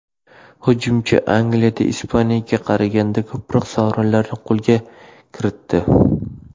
Hujumchi Angliyada Ispaniyaga qaraganda ko‘proq sovrinlarni qo‘lga kiritdi.